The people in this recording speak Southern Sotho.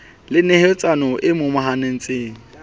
le neheletsano e momahaneng e